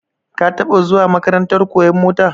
Ka taba zuwa makarantar koyan mota?